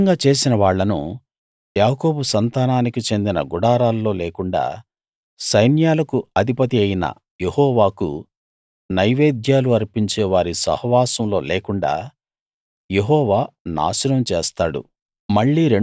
ఈ విధంగా చేసిన వాళ్ళను యాకోబు సంతానానికి చెందిన గుడారాల్లో లేకుండా సైన్యాలకు అధిపతియైన యెహోవాకు నైవేద్యాలు అర్పించే వారి సహవాసంలో లేకుండా యెహోవా నాశనం చేస్తాడు